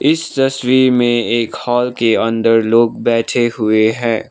इस तस्वीर मे एक हॉल के अंदर लोग बैठे हुए है।